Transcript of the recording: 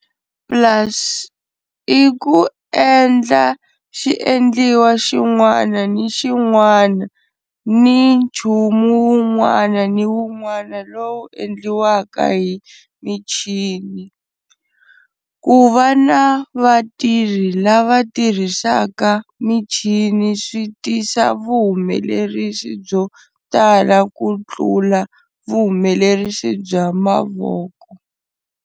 Plus I ku endla xiendliwa xin'wana ni xin'wana ni nchumu wun'wana ni wun'wana lowu endliwaka hi michini. Kuva na vatirhi lava tirhisaka michini swi tisa vuhumelerisi byotala kutlula vuhumelerisi bya mavoko.